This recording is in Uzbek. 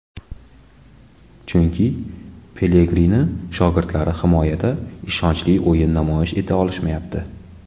Chunki Pelegrini shogirdlari himoyada ishonchli o‘yin namoyish eta olishmayapti.